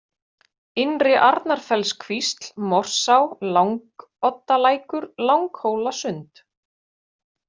Innri-Arnarfellskvísl, Morsá, Langoddalækur, Langhólasund